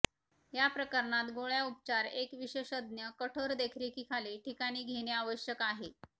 या प्रकरणात गोळ्या उपचार एक विशेषज्ञ कठोर देखरेखीखाली ठिकाणी घेणे आवश्यक आहे